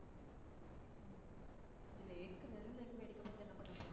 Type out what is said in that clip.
உம் இந்த lake உ வெறும் lake அ வேடிக்கை பாத்து என்ன பண்ண போறோம்.